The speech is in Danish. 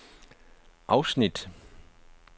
afsnit